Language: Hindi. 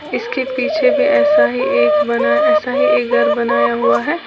इसके पीछे में ऐसा ही एक बना ऐसा ही एक घर बनाया हुआ है।